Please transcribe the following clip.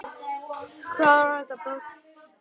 Var þetta brot?